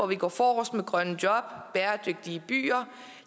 vi går forrest med grønne job bæredygtige byer